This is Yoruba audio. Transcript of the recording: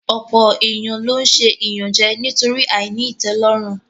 Ọ̀pọ̀ èèyàn ló n ṣe ìyànjẹ nítorí àìní ìtẹ́lọ́rùn